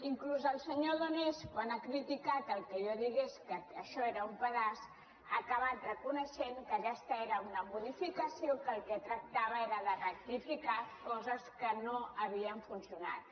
inclús el senyor donés quan ha criticat que jo digués que això era un pedaç ha acabat reconeixent que aquesta era una modificació que el que tractava era de rectificar coses que no havien funcionat